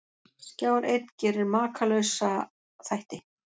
Skjár einn gerir Makalausa þætti